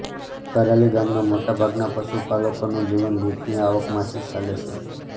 કરાલી ગામના મોટા ભાગના પશુપાલકોનું જીવન દૂધની આવકમાંથી ચાલે છે